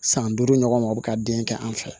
San duuru ɲɔgɔn o bi ka den kɛ an fɛ